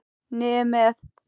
Niður með.